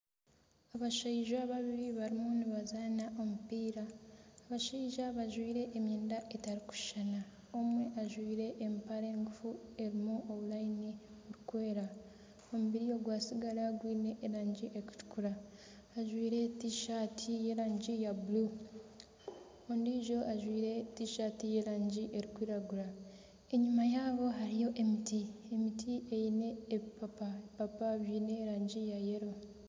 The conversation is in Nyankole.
Abaishaija babiri bariyo nibazaana omupiira. Abashaija bajwaire emyenda etarikushushana. Omwe ajwaire empare ngufu erimu oburayini burikwera. Omubiri ogwatsigara gwiine erangi erikutukura. Ajwaire tishaati y'erangi ya bururu. Ondiijo ajwaire tishaati y'erangi erikwiragura. Enyima yaabo hariyo emiti, emiti eine ebipapa, ebipapa biine rangi eya kinekye.